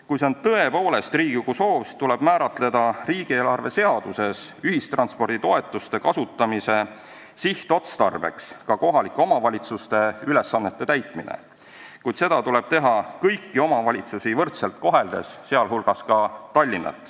Kui see on tõepoolest Riigikogu soov, siis tuleb riigieelarve seaduses määratleda ühistransporditoetuste kasutamise sihtotstarbena ka kohalike omavalitsuste ülesannete täitmine, kuid seda tuleb teha kõiki omavalitsusi võrdselt koheldes, sh Tallinna.